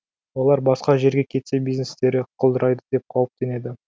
олар басқа жерге кетсе бизнестері құлдырайды деп қауіптенеді